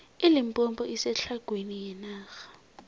ilimpompo isetlhagwini yenarha